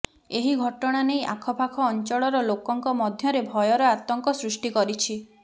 ଏହି ଘଟଣା ନେଇ ଆଖପାଖ ଅଞ୍ଚଳର ଲୋକଙ୍କ ମଧ୍ୟରେ ଭୟର ଆତଙ୍କ ସୃଷ୍ଟି କରିଛି